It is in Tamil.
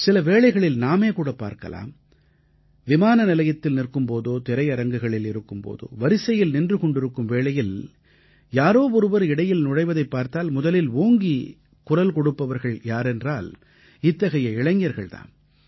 சில வேளைகளில் நாமேகூட பார்க்கலாம் விமான நிலையத்தில் நிற்கும் போதோ திரையரங்குகளில் இருக்கும் போதோ வரிசையில் நின்று கொண்டிருக்கும் வேளையில் யாரோ ஒருவர் இடையில் நுழைவதைப் பார்த்தால் முதலில் ஓங்கிக் குரல் கொடுப்பவர்கள் யாரென்றால் இத்தகைய இளைஞர்கள் தாம்